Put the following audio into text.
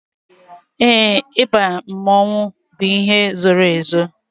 Éè, ịba mmanwu bụ ihe zoro ezo